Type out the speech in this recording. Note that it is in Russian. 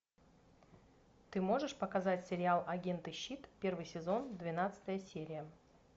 ты можешь показать сериал агенты щит первый сезон двенадцатая серия